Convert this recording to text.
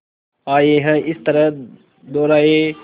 आए हैं इस तरह दोराहे